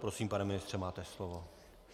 Prosím, pane ministře, máte slovo.